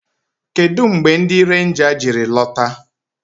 Kedụ mgbe ndị renja jiri lọta?